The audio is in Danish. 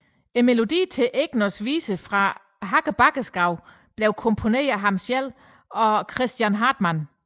Melodierne til Egners viser fra Hakkebakkeskoven blev komponeret af ham selv og Christian Hartmann